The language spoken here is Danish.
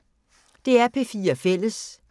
DR P4 Fælles